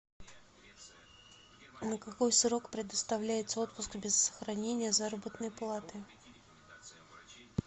на какой срок предоставляется отпуск без сохранения заработной платы